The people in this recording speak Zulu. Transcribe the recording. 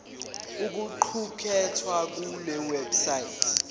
okuqukethwe kule website